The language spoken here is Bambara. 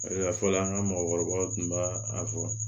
a fɔ la an ka mɔgɔkɔrɔbaw tun b'a a fɔ